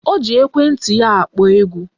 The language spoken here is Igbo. O ji ekwenti ya akpọ egwu